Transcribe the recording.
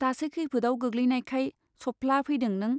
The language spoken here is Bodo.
दासो खैफोदआव गोग्लैनायखाय सबफ्ला फैदों नों ?